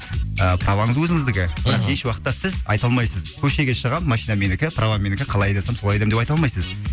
праваңыз өзіңіздікі мхм бірақ еш уақытта сіз айта алмайсыз көшеге шығамын машина менікі права менікі қалай айдасам солай айдаймын деп айта алмайсыз